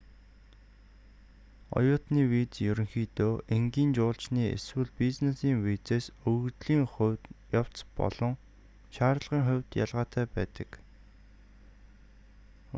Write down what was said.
оюутны виз ерөнхийдөө энгийн жуулчны эсвэл бизнесийн визээс өргөдлийн явц болон шаардлагын хувьд ялгаатай байдаг